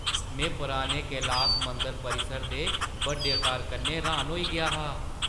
में पराने कैलास मंदर परिसर दे बड्डे आकार कन्नै र्‌हान होई गेआ हा!